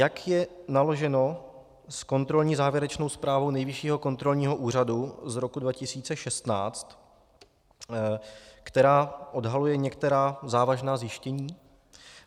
Jak je naloženo s kontrolní závěrečnou zprávou Nejvyššího kontrolního úřadu z roku 2016, která odhaluje některá závažná zjištění?